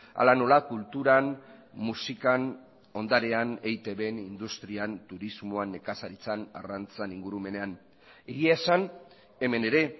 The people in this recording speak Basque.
hala nola kulturan musikan ondarean eitbn industrian turismoan nekazaritzan arrantzan ingurumenean egia esan hemen ere